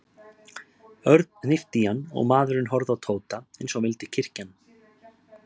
Örn hnippti í hann og maðurinn horfði á Tóta eins og hann vildi kyrkja hann.